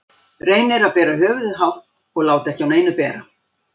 Reynir að bera höfuðið hátt og láta ekki á neinu bera.